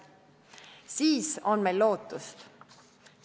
Siis on meil lootust.